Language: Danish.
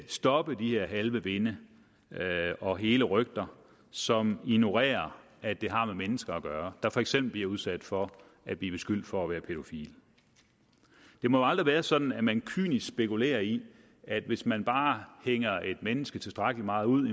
stoppe de her halve vinde og hele rygter som ignorerer at det har med mennesker at gøre der for eksempel bliver udsat for at blive beskyldt for at være pædofile det må aldrig være sådan at man kynisk spekulerer i at hvis man bare hænger et menneske tilstrækkelig meget ud